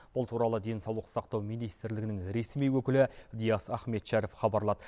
бұл туралы денсаулық сақтау министрлігінің ресми өкілі диас ахметшәріп хабарлады